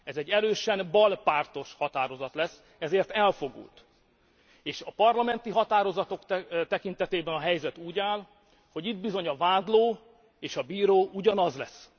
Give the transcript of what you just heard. Ez egy erősen balpártos határozat lesz, ezért elfogult, és a parlamenti határozatok tekintetében a helyzet úgy áll, hogy itt bizony a vádló és a bíró ugyanaz lesz.